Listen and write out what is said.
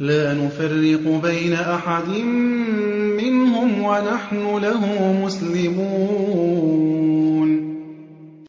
لَا نُفَرِّقُ بَيْنَ أَحَدٍ مِّنْهُمْ وَنَحْنُ لَهُ مُسْلِمُونَ